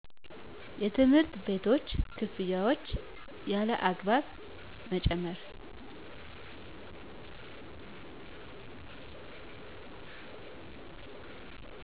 የትምህርት ቤቶች ክፍያዎች ያለአግባብ መጨመር